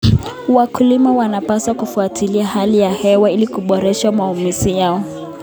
Wakulima wanapaswa kufuatilia hali ya hewa ili kuboresha maamuzi yao.